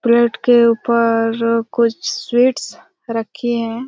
Plate के उपर्र ऊपर कुछ स्वीट्स रखी हैं।